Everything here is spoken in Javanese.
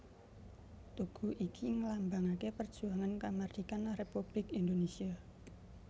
Tugu iki nglambangaké perjuangan kamardhikan Républik Indonésia